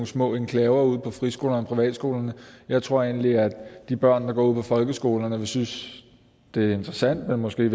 små enklaver ude på friskolerne og privatskolerne jeg tror egentlig at de børn der går ude på folkeskolerne vil synes det er interessant men måske i